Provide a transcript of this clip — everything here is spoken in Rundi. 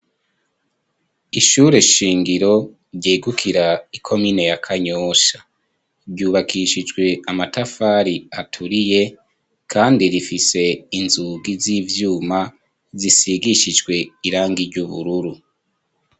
Ishure shingiro ryegukira i komine ya Kanyosha, ryubakishijwe amatafari aturiye, kandi rifise inzugi z'ivyuma zisigishijwe irangi ry'ubururu.